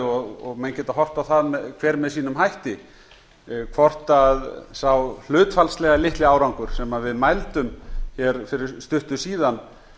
og menn geta horft á það hver með sínum hætti hvort sá hlutfallslega litli árangur sem við mældum hér fyrir stuttu síðan